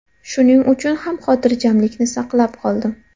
Shuning uchun ham xotirjamlikni saqlab qoldim.